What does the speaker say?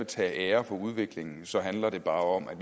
tage æren for udviklingen så handler det bare om at